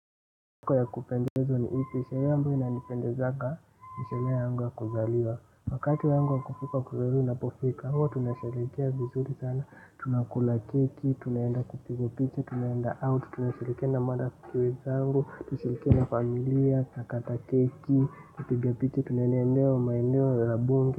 Siku ya kupendeza ni ipi, ni hiyo ambayo inanipendezaga, sherehe yangu ya kuzaliwa. Wakati wangu wakufika kuzaliwa unapofika, huwa tunasherehekea vizuri sana tunakula keki, tunaenda kupigwa picha, tunaenda out, tunashirikiana na marafiki zangu, tunashirikiana na familia, nakata keki, kupiga picha, tunaenda eneo, maeneo la bunge.